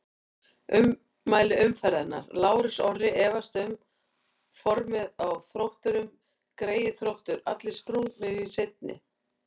Ummæli umferðarinnar: Lárus Orri efast um formið á Þrótturum Greyið Þróttur, allir sprungnir í seinni.